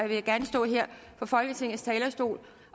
vil gerne stå her på folketingets talerstol